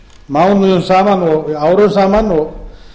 mánuðum saman og árum saman og